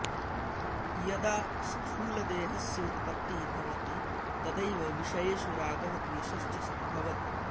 यदा स्थूलदेहस्य उत्पत्तिः भवति तदैव विषयेषु रागः द्वेषश्च सम्भवति